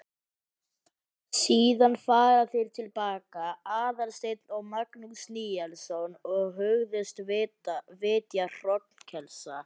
Síðan fara þeir til baka, Aðalsteinn og Magnús Níelsson, og hugðust vitja hrognkelsa.